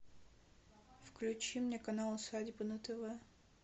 включи мне канал усадьба на тв